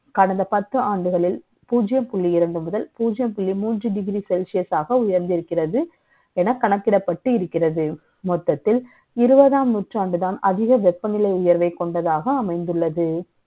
கடந்த பத்து ஆண்டுகளில், பூஜ்ஜியம் புள்ளி இரண்டு முதல், பூஜ்ஜியம் புள்ளி மூன்று degree Celsius ஆக, உயர்ந்திருக்கிறது. என கணக்கிடப்பட்டு இருக்கிறது. ம ொத்தத்தில், இருபதாம் நூற்றாண்டுதான், அதிக வெ ப்பநிலை உயர்வை க ொண்டதாக, அமை ந்துள்ளது